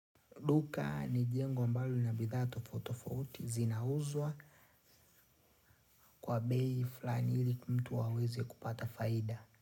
Duka ni jengo ambalo lina bidhaa tofauti tofauti zinauzwa kwa bei fulani ili mtu aweze kupata faida.